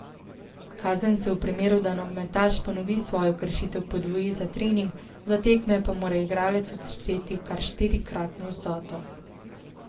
Kazen se v primeru, da nogometaš ponovi svojo kršitev podvoji za trening, za tekme pa mora igralec odšteti kar štirikratno vsoto.